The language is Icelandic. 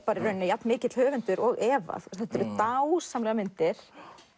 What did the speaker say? jafnmikill höfundur og Eva þetta eru dásamlegar myndir